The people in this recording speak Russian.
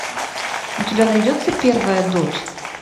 у тебя найдется первая дочь